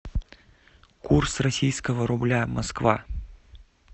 курс российского рубля москва